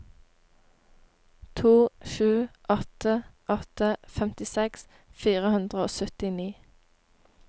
to sju åtte åtte femtiseks fire hundre og syttini